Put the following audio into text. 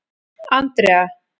Andrea